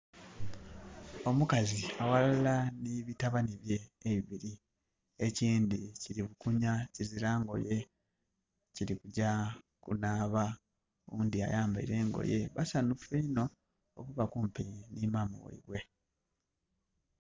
Omukazi aghalala ni bitabani bye ebibili. Ekindhi kili bukunha kizira ngoye, kulikugya kunaaba. Owundhi ayambaile engoye. Basanhufu inho okuba kumpi ni maama ghaibwe.